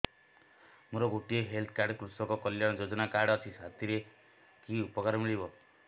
ମୋର ଗୋଟିଏ health card କୃଷକ କଲ୍ୟାଣ ଯୋଜନା କାର୍ଡ ଅଛି ସାଥିରେ କି ଉପକାର ମିଳିବ